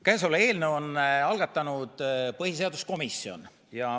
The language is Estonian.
Käesoleva eelnõu on algatanud põhiseaduskomisjon.